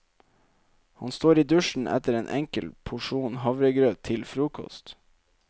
Han står i dusjen etter en enkel porsjon havregrøt til frokost.